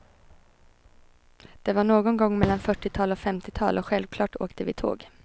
Det var någon gång mellan fyrtiotal och femtiotal och självklart åkte vi tåg.